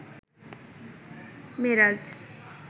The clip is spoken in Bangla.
মেরাজ